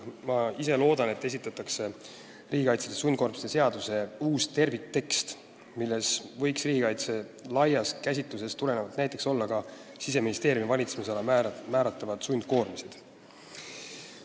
Ma ise loodan, et esitatakse riigikaitseliste sundkoormiste seaduse uus terviktekst, milles võiks riigikaitse laiast käsitlusest tulenevalt olla ka näiteks Siseministeeriumi valitsemisala määratavad sundkoormised.